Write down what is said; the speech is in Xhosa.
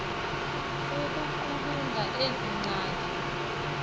ukuqulunqa ezi nkcaza